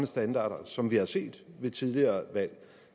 standarder som vi har set ved tidligere valg